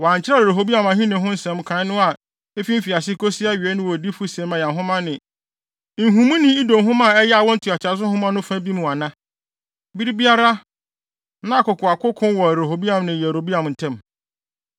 Wɔankyerɛw Rehoboam ahenni ho nsɛm nkae no a efi mfiase kosi awiei no wɔ odiyifo Semaia nhoma ne nhumuni Ido nhoma a ɛyɛ awo ntoatoaso nhoma no fa bi mu ana? Bere biara, na akokoakoko wɔ Rehoboam ne Yeroboam ntam.